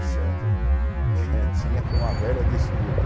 tinha aqui uma velha disputa.